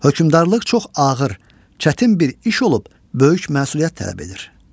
hökmdarlıq çox ağır, çətin bir iş olub böyük məsuliyyət tələb edir.